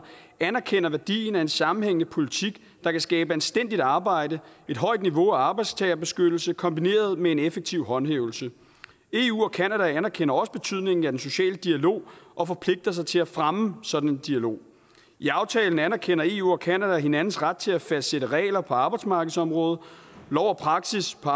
anerkender værdien af en sammenhængende politik der kan skabe anstændigt arbejde et højt niveau af arbejdstagerbeskyttelse kombineret med en effektiv håndhævelse eu og canada anerkender også betydningen af den sociale dialog og forpligter sig til at fremme sådan en dialog i aftalen anerkender eu og canada hinandens ret til at fastsætte regler på arbejdsmarkedsområdet lov og praksis på